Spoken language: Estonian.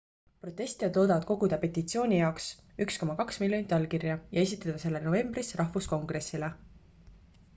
protestijad loodavad koguda petitsiooni jaoks 1,2 miljonit allkirja ja esitada selle novembris rahvuskongressile